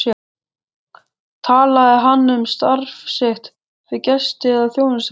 Talaði hann um starf sitt við gesti eða þjónustufólk?